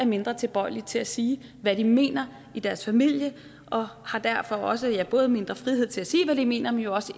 mindre tilbøjelige til at sige hvad de mener i deres familie og har derfor også ja både mindre frihed til at sige hvad de mener men også